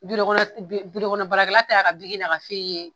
kɔnɔ baarakɛla ta y'a n'a ka ye.